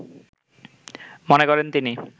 মনে করেন তিনি